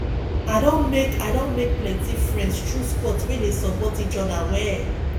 i don make i don make plenty friends through sports we dey support each other well